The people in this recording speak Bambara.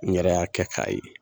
N yɛrɛ y'a kɛ k'a ye.